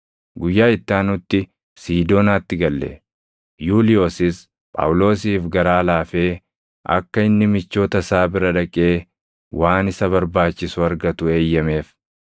Guyyaa itti aanutti Siidoonaatti galle; Yuuliyoosis Phaawulosiif garaa laafee akka inni michoota isaa bira dhaqee waan isa barbaachisu argatu eeyyameef.